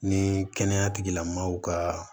Ni kɛnɛya tigilamɔgɔw ka